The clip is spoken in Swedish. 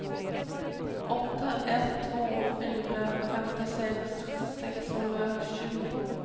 åtta ett två fyra femtiosex sexhundratjugo